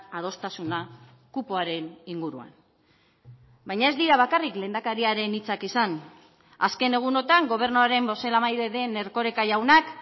adostasuna kupoaren inguruan baina ez dira bakarrik lehendakariaren hitzak izan azken egunotan gobernuaren bozeramaile den erkoreka jaunak